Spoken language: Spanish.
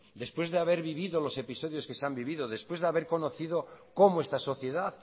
después de haber vivido los episodios que se han vivido después de haber conocido cómo está sociedad